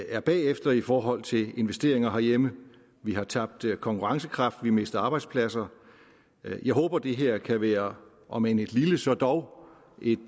er bagefter i forhold til investeringer herhjemme vi har tabt konkurrencekraft vi mister arbejdspladser jeg håber det her kan være om end et lille så dog et